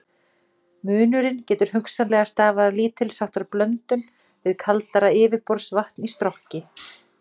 Munurinn getur hugsanlega stafað af lítils háttar blöndun við kaldara yfirborðsvatn í Strokki.